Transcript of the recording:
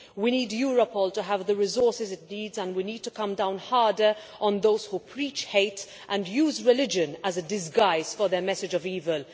We need Europol to have the resources it needs, and we need to come down harder on those who preach hate and use religion as a disguise for their message of evil.